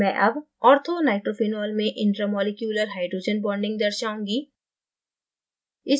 मैं अब orthonitrophenolमें इंट्रा मॉलिक्यूलर hydrogen bonding दर्शाऊँगी